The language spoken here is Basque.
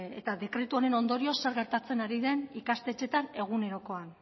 eta dekretu honen ondorioz zer gertatzen ari den ikastetxeetan egunerokoan